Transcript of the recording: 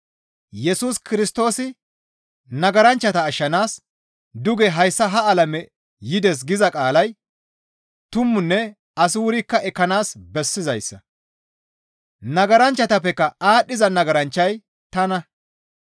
Yesus Kirstoosi nagaranchchata ashshanaas duge hayssa ha alame yides giza qaalay tumanne asi wurikka ekkanaas bessizayssa. Nagaranchchatappeka aadhdhiza nagaranchchay tana.